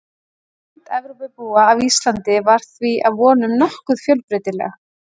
Mynd Evrópubúa af Íslandi var því að vonum nokkuð fjölbreytileg.